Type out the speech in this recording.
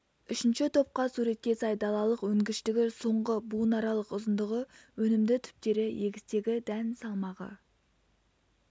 үшінші топқа суретке сай далалық өнгіштігі соңғы буынаралық ұзындығы өнімді түптері егістегі дән салмағы